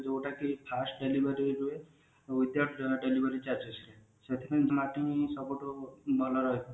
ଯୋଉଟା କି fast delivery ହୁଏ without delivery charges ରେ